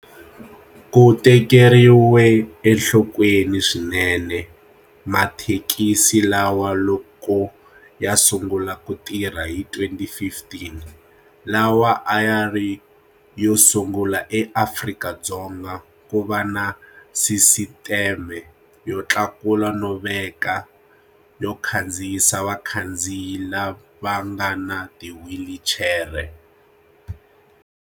Ku tekeriwe enhlokweni swinene mathekisi lawa loko ya sungula ku tirha hi 2015 lawa a ya ri yo sungula eAfrika-Dzonga ku va na sisiteme yo tlakula no veka yo khandziyisa vakhandziyi lava nga na tiwhilichere.